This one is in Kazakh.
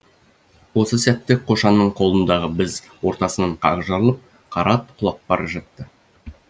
осы сәтте қошанның қолындағы біз ортасынан қақ жарылып қара ат құлап бара жатты